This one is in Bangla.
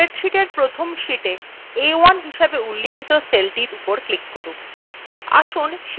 spreadsheeta1 প্রথম sheetএ a1 হিসাবে উল্লিখিত সেলউপর উপর click করুন